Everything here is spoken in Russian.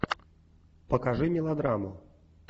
покажи мелодраму